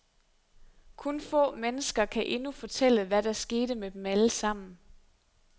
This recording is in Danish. Kun få mennesker kan endnu fortælle, hvad der skete med dem alle sammen.